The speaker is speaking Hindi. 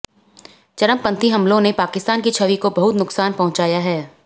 चरमपंथी हमलों ने पाकिस्तान की छवि को बहुत नुकसान पहुँचाया है